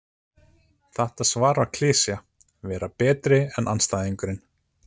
Þetta svar var klisja: Vera betri en andstæðingurinn.